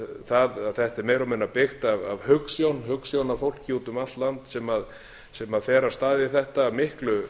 það að þetta er meira og minna byggt af hugsjónafólki út um allt land sem fer af stað í þetta af miklu